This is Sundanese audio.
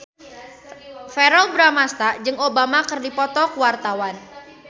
Verrell Bramastra jeung Obama keur dipoto ku wartawan